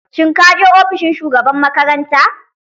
Shin kaje ofishin shugaban makaranta?